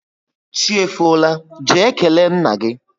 Chi efola, jee kelee nna gị!